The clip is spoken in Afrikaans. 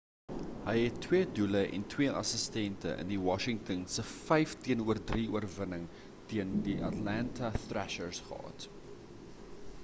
hy het 2 doele en 2 assistente in washington se 5-3 oorwining teen die atlanta thrashers gehad